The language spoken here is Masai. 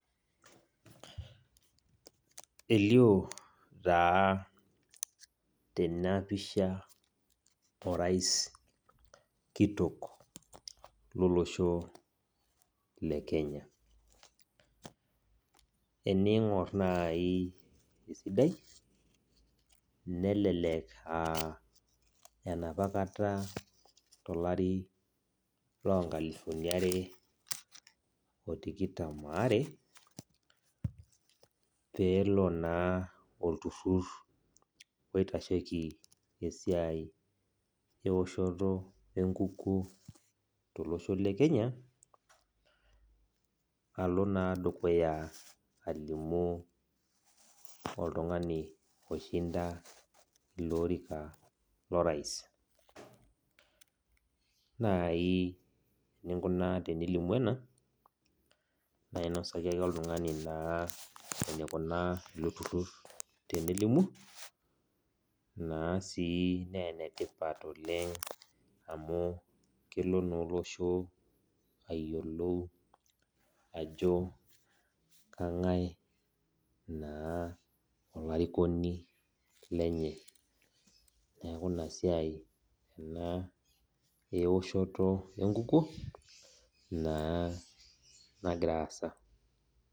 Elio taa tenapisha orais kitok lolosho lekenya eningor naai esidai nelelek aa enaapakata tolari lonkalifuni are otikitam aare pelo na olturur oitashieki esiai eoshoto enkukuo tolosho le Kenya alo dukuya alimu oltungani oshinda olorika lorais, na ore eninko tenilimu ena nainosaki ake oltungani enikuna ilo turur tenelimu na enetipat oleng amu kelo na ilo osho ayiolou ajo kangae ba olarikoni lenye neaku inasiai ena eoshoto enkukuo nagira aasa.